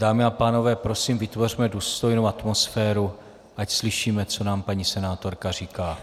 Dámy a pánové, prosím, vytvořme důstojnou atmosféru, ať slyšíme, co nám paní senátorka říká.